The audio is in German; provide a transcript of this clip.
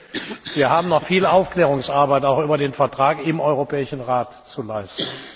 Sie sehen, wir haben noch viel Aufklärungsarbeit, auch über den Vertrag, im Europäischen Rat zu leisten.